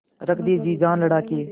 रख दे जी जान लड़ा के